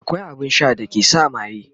akwai abun Sha da ke sa maye